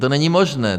To není možné.